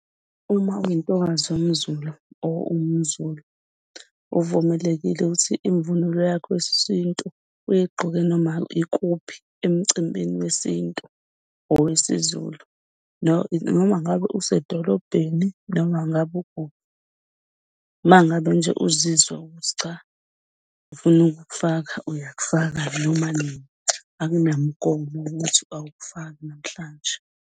Uma uyintokazi yomZulu or uwumZulu uvumelekile ukuthi imvunulo yakho yesintu uyigqoke noma ikuphi emcimbini wesintu, owesiZulu noma ngabe usedolobheni noma ngabe ukuphi. Uma ngabe nje uzizwa ukuthi cha ufuna ukufaka uyakufaka noma nini akunamgomo ukuthi awufaki namhlanje.